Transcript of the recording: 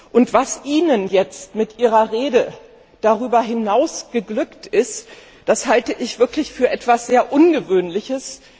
Und was Ihnen jetzt mit Ihrer Rede darüber hinaus geglückt ist, das halte ich wirklich für etwas sehr Ungewöhnliches.